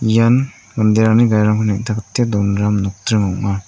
ian manderangni garirangko neng·takate donram nokdring ong·a.